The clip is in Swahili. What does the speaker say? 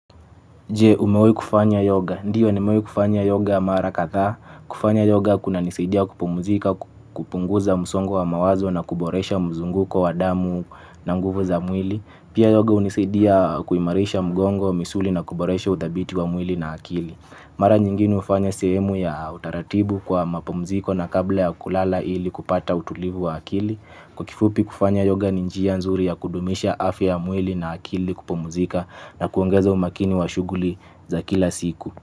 Je, umewahi kufanya yoga? Ndio nimewahi kufanya yoga mara kadhaa. Kufanya yoga kunanisidia kupumzika, kupunguza msongo wa mawazo na kuboresha mzunguko wa damu na nguvu za mwili. Pia yoga hunisaidia kuimarisha mgongo, misuli na kuboresha uthabiti wa mwili na akili. Mara nyingine hufanya sehemu ya utaratibu kwa mapumziko na kabla ya kulala ili kupata utulivu wa akili. Kwa kifupi kufanya yoga ni njia nzuri ya kudumisha afya ya mwili na akili kupumzika na kuongeza umakini wa shughuli za kila siku.